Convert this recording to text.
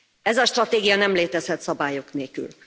Ez a stratégia nem létezhet szabályok nélkül.